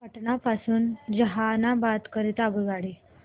पटना पासून जहानाबाद करीता आगगाडी